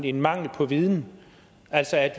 en mangel på viden altså at